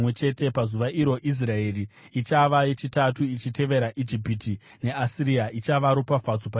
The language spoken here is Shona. Pazuva iro Israeri ichava yechitatu, ichitevera Ijipiti neAsiria, ichava ropafadzo panyika.